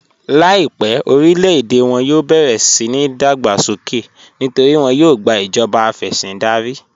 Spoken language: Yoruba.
Láìpẹ̀ orílẹ̀-èdè wọn yóò bẹ̀rẹ̀ síni ìdágbàsókè nítorí wọn yóò gbà ìjọba afẹ̀sìndárí.